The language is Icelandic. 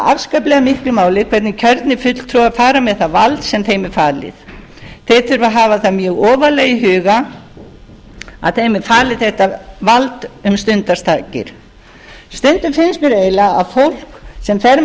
afskaplega miklu máli hvernig kjörnir fulltrúar fara með það vald sem þeim er falið þeir þurfa að hafa það mjög ofarlega í huga að þeim er falið þetta vald um stundarsakir stundum finnst mér eiginlega að fólk sem fer með þetta umboð